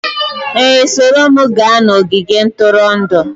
Ee, soro m gaa n'ogige ntụrụndụ